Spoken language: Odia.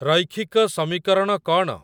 ରୈଖିକ ସମୀକରଣ କ'ଣ ?